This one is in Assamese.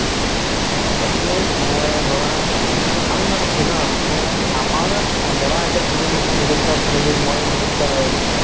ট তাকেই ধৰা আমি মানে কি ন মানে আমাৰ ধৰা এতিয়া তুমি মিলি middle class family মইও middle class family